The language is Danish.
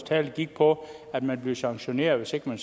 tale gik på at man blev sanktioneret hvis man